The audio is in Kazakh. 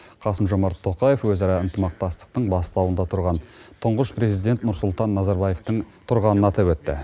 қасым жомарт тоқаев өзара ынтымақтастықтың бастауында тұңғыш президент елбасы нұрсұлтан назарбаевтың тұрғанын атап өтті